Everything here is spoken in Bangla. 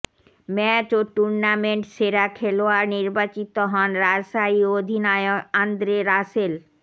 ম্যাচ ও টুর্নামেন্ট সেরা খেলোয়াড় নির্বাচিত হন রাজশাহী অধিনায়ক আন্দ্রে রাসেল